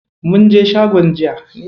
Munje shagon jiya.